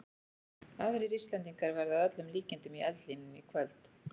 Aðrir Íslendingar verða að öllum líkindum í eldlínunni í kvöld.